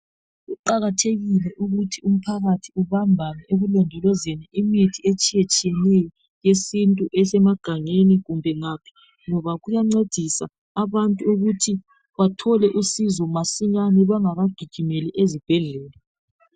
Kuqakathekile ukuthi umphakathi ubambane ekulondolozeni imithi etshiye tshiyeneyo yesintu esemagangeni kumbe ngaphi ngoba kuyancedisa abantu ukuthi bathole uncedo masinyane bengaka gijimeli ezibhedlela.